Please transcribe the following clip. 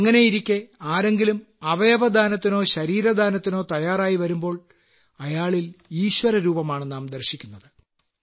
അങ്ങനെയിരിക്കെ ആരെങ്കിലും അവയവദാനത്തിനോ ശരീരദാനത്തിനോ തയ്യാറായിവരുമ്പോൾ അയാളിൽ ഈശ്വരരൂപമാണ് നാം ദർശിക്കുന്നത്